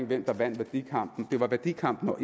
hvem der vandt værdikampen det var værdikampen og